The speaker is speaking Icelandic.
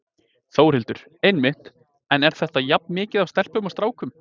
Þórhildur: Einmitt, en er þetta jafn mikið af stelpum og strákum?